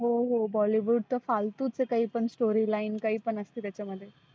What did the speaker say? हो हो bollywood तर फल्तुच आहे काही पण storyline काही पण असतं त्याच्यामध्ये.